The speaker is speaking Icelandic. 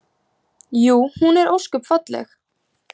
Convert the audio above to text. Jú, hún er ósköp falleg.